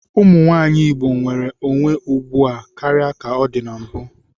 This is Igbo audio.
Ụmụnwaanyị Igbo nwere onwe ugbu a karịa ka ọ dị na mbụ.